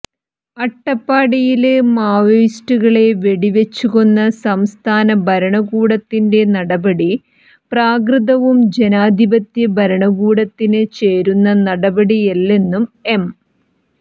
അട്ടപ്പാടിയില് മാവോയിസ്റ്റുകളെ വെടിവച്ച് കൊന്ന സംസ്ഥാന ഭരണകൂടത്തിന്റെ നടപടി പ്രാകൃതവും ജനാധിപത്യ ഭരണകൂടത്തിന് ചേര്ന്ന നടപടിയല്ലെന്നും എം